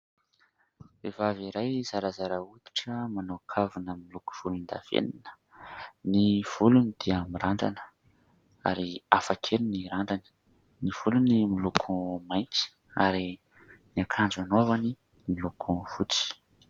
Vehivavy iray zarazara hoditra, manao kavina miloko volondavenona. Ny volony dia mirandrana ary hafa kely ny randrany. Ny volony miloko mainty ary ny akanjo anaovany miloko fotsy.